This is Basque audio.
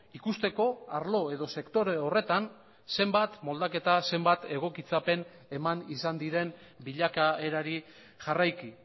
ikusteko arlo edo sektore horretan zenbat moldaketa zenbat egokitzapen eman izan diren bilakaerari jarraiki